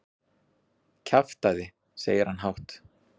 Kjaftæði, segir hann hátt.